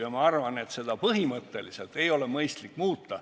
Ja ma arvan, et seda põhimõtteliselt muuta pole mõistlik.